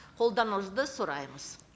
қолдауыңызды сұраймыз